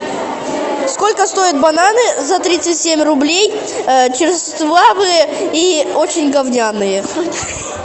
сколько стоят бананы за тридцать семь рублей черствавые и очень говняные